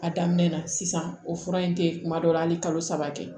A daminɛ na sisan o fura in te kuma dɔw la hali kalo saba tɛ